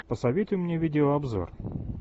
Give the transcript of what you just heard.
посоветуй мне видеообзор